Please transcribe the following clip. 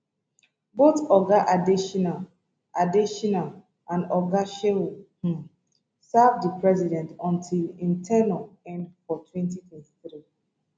both oga adesina adesina and oga shehu um serve di president until im ten ure end for 2023